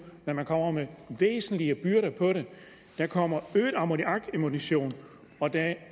men man kommer med væsentlige byrder der kommer øget ammoniakemission og der er